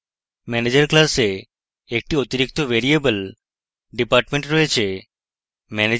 manager class একটি অতিরিক্ত variable department রয়েছে